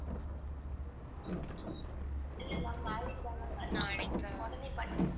இல்லை ma'am நாளைக்கு தான் ma'am வருவே உடனே பண்ணி